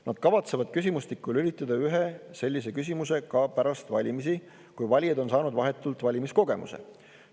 Nad kavatsevad küsimustikku lülitada ühe sellise küsimuse ka pärast valimisi, kui valijad on saanud vahetult valimiskogemuse.